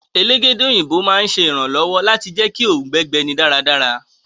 Elégédé òyìnbó iranlọwọ pa ọ dáradára.